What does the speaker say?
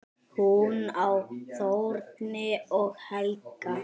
Hún á Þórunni og Helga.